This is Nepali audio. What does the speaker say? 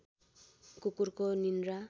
कुकुरको निन्द्रा